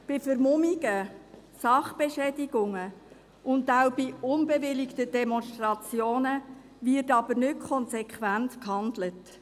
Bei Vermummungen, Sachbeschädigungen und auch bei nicht bewilligten Demonstrationen wird jedoch nicht konsequent gehandelt.